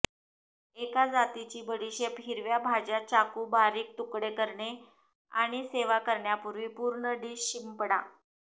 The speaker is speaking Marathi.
एका जातीची बडीशेप हिरव्या भाज्या चाकू बारीक तुकडे करणे आणि सेवा करण्यापूर्वी पूर्ण डिश शिंपडा